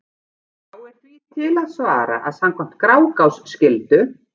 Þá er því til að svara að samkvæmt Grágás skyldu